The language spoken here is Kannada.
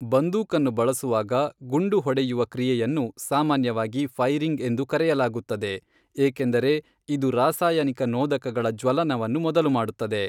ಬಂದೂಕನ್ನು ಬಳಸುವಾಗ, ಗುಂಡು ಹೊಡೆಯುವ ಕ್ರಿಯೆಯನ್ನು ಸಾಮಾನ್ಯವಾಗಿ ಫೈರಿಂಗ್ ಎಂದು ಕರೆಯಲಾಗುತ್ತದೆ ಏಕೆಂದರೆ ಇದು ರಾಸಾಯನಿಕ ನೋದಕಗಳ ಜ್ವಲನವನ್ನು ಮೊದಲುಮಾಡುತ್ತದೆ.